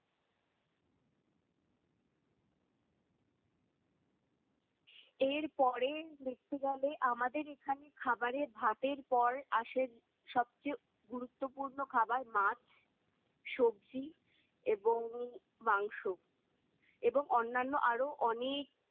এর পরে দেখতে গেলে আমাদের এখানে খাবারে ভাতের পর আসে সবচেয়ে গুরুত্বপূর্ণ খাবার মাছ, সবজি এবং মাংস এবং অন্যান্য আরও অনেক